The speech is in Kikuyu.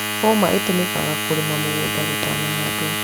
Hũma ĩtũmĩkaga kũrĩma mũgũnda gũtana handwo.